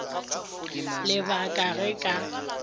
le ba ka ge ka